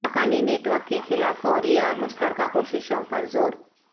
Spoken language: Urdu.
حقانی نیٹ ورک کے خلاف فوری اور مشترکہ کوششوں پر زور